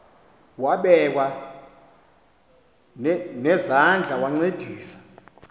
wabekwa nezandls wancedisa